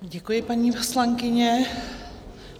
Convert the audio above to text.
Děkuji, paní poslankyně.